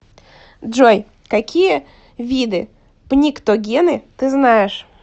джой какие виды пниктогены ты знаешь